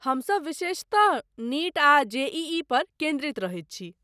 हमसभ विशेषतः नीट आ जेईई पर केन्द्रित रहैत छी।